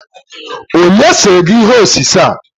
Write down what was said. Onye sere gi ihe osise a?